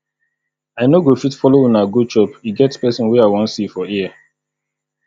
i no go fit follow una go chop e get person wey i wan see for here